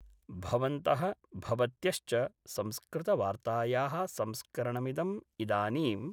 भवन्त: भवत्यश्च संस्कृतवार्तायाः संस्करणमिदं इदानीम्